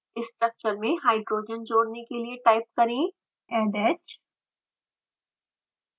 structure में hydrogen जोड़ने के लिए टाइप करें addh